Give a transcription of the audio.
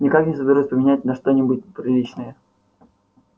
никак не соберусь поменять на что-нибудь приличное